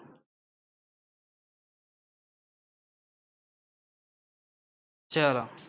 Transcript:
ચલો